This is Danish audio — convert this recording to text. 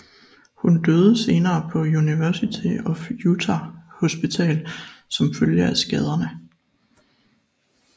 Hun døde senere på University of Utah Hospital som følge af skaderne